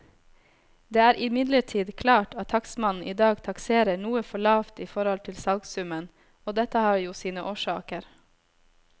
Det er imidlertid klart at takstmannen i dag takserer noe for lavt i forhold til salgssummen, og dette har jo sine årsaker.